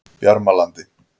Bjarmalandi